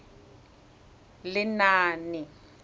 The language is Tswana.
lenaane